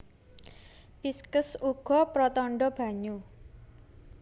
Pisces uga pratandha banyu